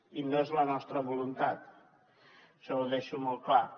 i no és la nostra voluntat això ho deixo molt clar